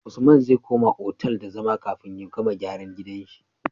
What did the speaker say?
Usman zai koma otal da zama kafin ya gama gyara gidan shi